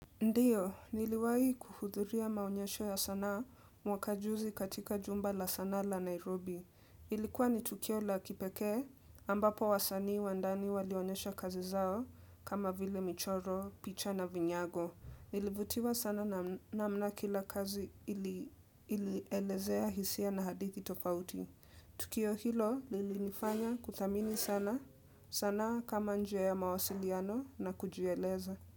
Ndiyo, niliwahi kuhudhuria maonyesho ya sanaa mwaka juzi katika jumba la sanaa la Nairobi. Ilikuwa ni Tukio la kipekee, ambapo wasanii wa ndani walionyeshwa kazi zao kama vile michoro, picha na vinyago. Nilivutiwa sana nam namna kila kazi ili ilielezea hisia na hadithi tofauti. Tukio hilo lilinifanya kuthamini sana, sanaa kama njia ya mawasiliano na kujieleza.